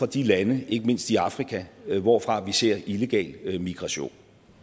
de lande ikke mindst i afrika hvorfra vi ser illegal migration